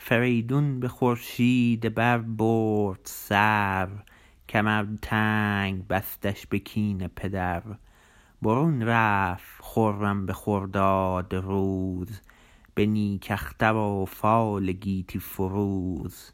فریدون به خورشید بر برد سر کمر تنگ بستش به کین پدر برون رفت خرم به خرداد روز به نیک اختر و فال گیتی فروز